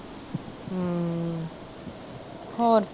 ਹੋਰ